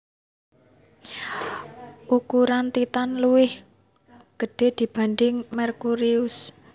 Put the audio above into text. Ukuran Titan luwih gede dibanding Merkurius